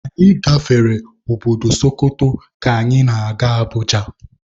Anyị gafere obodo Sokoto ka anyị na-aga Abuja